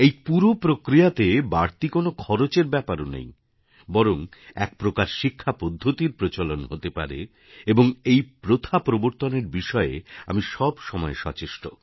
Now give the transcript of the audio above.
এই পুরো প্রক্রিয়াতে বাড়তি কোনও খরচের ব্যাপার নেই বরং একপ্রকার শিক্ষাপদ্ধতির প্রচলন হতে পারে এবং এই প্রথা প্রবর্তনের বিষয়ে আমি সব সময়ে সচেষ্ট